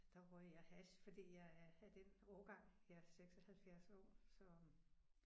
Der røg jeg hash fordi jeg er af den årgang jeg er 76 år så